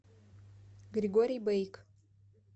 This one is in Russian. григорий бейк